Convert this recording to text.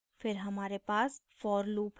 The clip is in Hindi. फिर हमारे पास for loop है